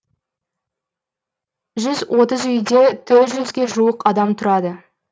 жүз отыз үйде төрт жүзге жуық адам тұрады